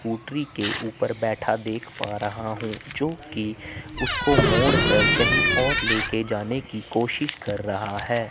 मोटरी के ऊपर बैठा देख पा रहा हूं जोकि उसको मोड़कर कहीं और लेके जाने की कोशिश कर रहा है।